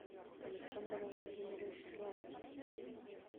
александр владимирович соловьев